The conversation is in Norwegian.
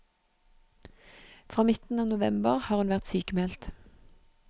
Fra midten av november har hun vært sykmeldt.